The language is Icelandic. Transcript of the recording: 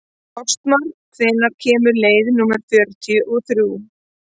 Ástmar, hvenær kemur leið númer fjörutíu og þrjú?